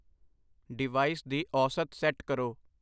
Device ਦੀ ਔਸਤ set ਕਰੋ।